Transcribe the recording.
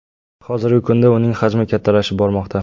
Hozirgi kunida uning hajmi kattalashib bormoqda.